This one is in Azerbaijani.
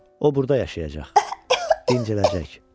O burda yaşayacaq, dincələcək.